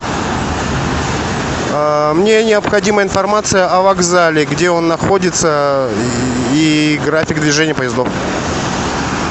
мне необходима информация о вокзале где он находится и график движения поездов